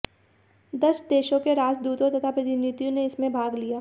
दस देशों के राजदूतों तथा प्रतिनिधियों ने इसमें भाग लिया